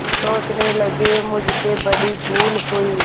सोचने लगेमुझसे बड़ी भूल हुई